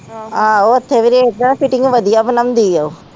ਆਹ ਉੱਥੇ ਵੀ ਫਿਟਿੰਗ ਵਧਿਆ ਬਣਾਉਂਦੀ ਆ